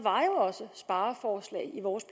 var jo også spareforslag i vores